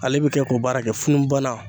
Ale bi kɛ k'o baara kɛ funun balan